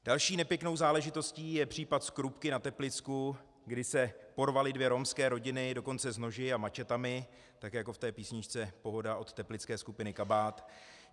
Další nepěknou záležitostí je případ z Krupky na Teplicku, kdy se porvaly dvě romské rodiny, dokonce s noži a mačetami, tak jako v té písničce Pohoda od teplické skupiny Kabát.